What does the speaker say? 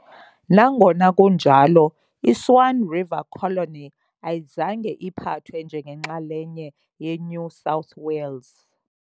Nangona kunjalo, i- Swan River Colony ayizange iphathwe njengenxalenye yeNew South Wales.